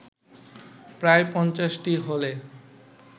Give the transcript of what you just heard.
প্রায় পঞ্চাশটি হলে